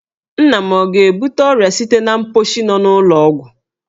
Nna m ọ ga-ebute ọrịa site n'ụlọ mkposhi nọ n'ụlọ ọgwụ?